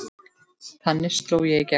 Þannig sló ég í gegn.